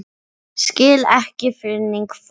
Skil ekki þannig fólk.